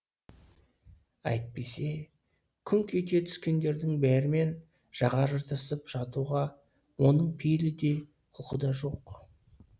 әйтпесе күңк ете түскендердің бәрімен жаға жыртысып жатуға оның пейілі де құлқы да жоқ